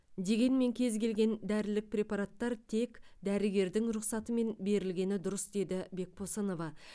дегенмен кез келген дәрілік препараттар тек дәрігердің рұқсатымен берілгені дұрыс деді бекбосынова